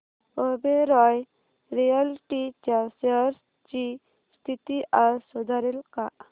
Oberoi realty च्या shares ची स्थिती आज सुधारेल का